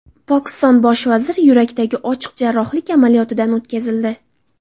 Pokiston bosh vaziri yurakdagi ochiq jarrohlik amaliyotidan o‘tkazildi.